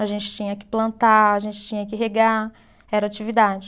A gente tinha que plantar, a gente tinha que regar, era atividade.